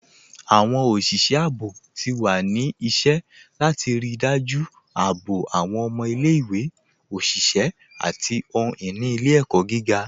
Awọn oṣiṣẹ àbọ̀ ti wà ní ìṣẹ̀ látì ríí dájú àbọ̀ awọn ọmọ ilẹ̀-ìwé, oṣiṣẹ̀, àti ohun-ini ilẹ̀-ẹkọ gígá